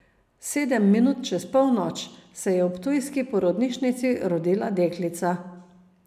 Sedem minut čez polnoč se je v ptujski porodnišnici rodila deklica.